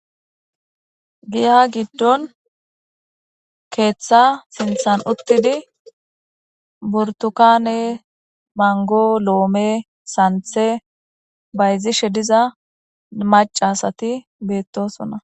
Giya giddon keeththa sinthan uttidi burtukane mango loome santhe bayzishe diza macasati beettosonna.